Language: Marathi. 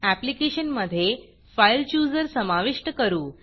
ऍप्लिकेशनमधे फाइल चूझर फाइल चुजरसमाविष्ट करू